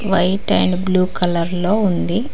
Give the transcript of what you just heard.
White and blue colour లో ఉంది.